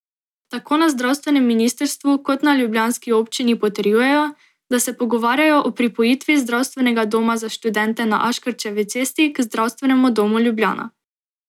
Tako na zdravstvenem ministrstvu kot na ljubljanski občini potrjujejo, da se pogovarjajo o pripojitvi Zdravstvenega doma za študente na Aškerčevi cesti k Zdravstvenemu domu Ljubljana.